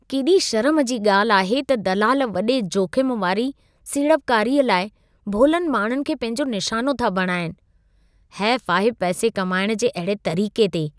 केॾी शर्म जी ॻाल्हि आहे त दलाल वॾे जोख़िम वारी सीड़पकारीअ लाइ भोलनि माण्हुनि खे पंहिंजो निशानो था बणाइनि। हैफ़ु आहे पैसे कमाइण जे अहिड़े तरीक़े ते!